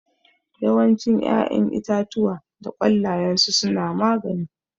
Yawancin ƴaƴan itatuwa da ƙwallayensu suna magani